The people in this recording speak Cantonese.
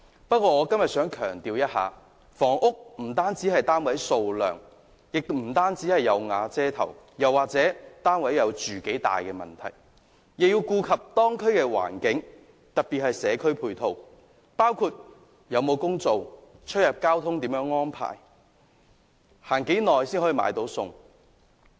不過，我今天想強調，房屋不單是單位的數量，亦不單是"有瓦遮頭"，甚或單位的面積，也要顧及當區的環境，特別是社區配套，包括就業機會、交通安排及與菜市場的距離等。